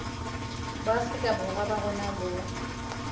boafrika borwa ba rona bo